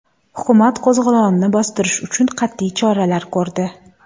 Hukumat qo‘zg‘olonni bostirish uchun qat’iy choralar ko‘rdi.